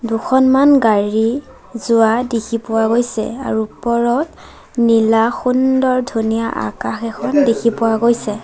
দুখনমান গাড়ী যোৱা দেখি পোৱা গৈছে আৰু ওপৰত নীলা সুন্দৰ ধুনীয়া আকাশ এখন দেখি পোৱা গৈছে।